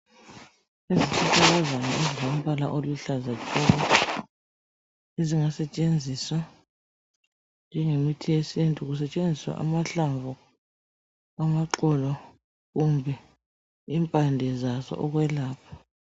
Izihlahlakazana ezilombala oluhlaza tshoko ezingasetshenziswa njengemithi yesintu kusetshenziswa amahlamvu, amaxolo kumbe impande zaso ukwelapha .